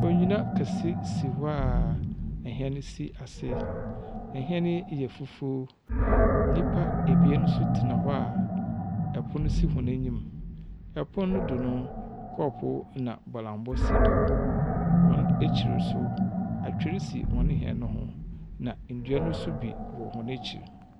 Onyina kɛse si hɔ a nhyɛn si ase. Nhyɛn yi yɛ fufuw. Nnipa ebien nso tsena hɔ a ɛpono si hɔn enyim. Pon no do no. kɔɔpoo na bɔlambɔ si do. Hɔn ekyir nso, atwer si hɔn hyɛn no ho, na ndua no nso bi wɔ hɔn ekyir.